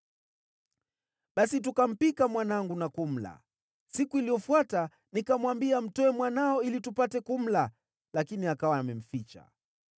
Basi tukampika mwanangu na kumla. Siku iliyofuata nikamwambia, ‘Mtoe mwanao ili tupate kumla.’ Lakini akawa amemficha.”